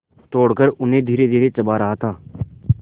तोड़कर उन्हें धीरेधीरे चबा रहा था